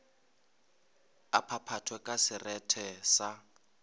a phaphathwe ka serethe sa